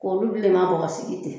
K'olu bilenman bɔ ka sigi ten